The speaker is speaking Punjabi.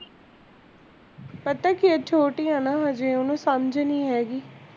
ਪਤਾ ਕਿਉਂ ਉਹ ਛੋਟੀ ਐ ਨਾ ਹਜੇ ਓਹਨੂੰ ਸਮਝ ਨੀ ਹੈਗੀ